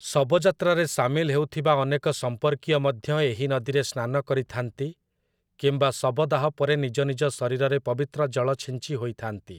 ଶବଯାତ୍ରାରେ ସାମିଲ ହେଉଥିବା ଅନେକ ସମ୍ପର୍କୀୟ ମଧ୍ୟ ଏହି ନଦୀରେ ସ୍ନାନ କରିଥାନ୍ତି କିମ୍ବା ଶବଦାହ ପରେ ନିଜନିଜ ଶରୀରରେ ପବିତ୍ର ଜଳ ଛିଞ୍ଚି ହୋଇଥାନ୍ତି ।